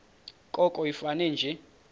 koko ifane nje